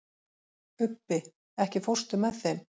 Ubbi, ekki fórstu með þeim?